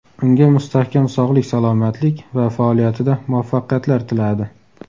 Unga mustahkam sog‘lik-salomatlik va faoliyatida muvaffaqiyatlar tiladi.